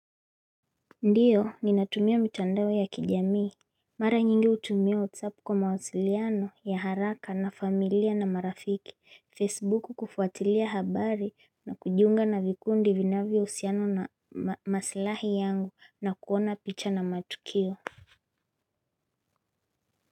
Ndiyo, ninatumia mitandao ya kijamii. Mara nyingi hutumia whatsapp kwa mawasiliano ya haraka na familia na marafiki, Facebook kufuatilia habari na kujiunga na vikundi vinavyousiana na masilahi yangu na kuona picha na matukio.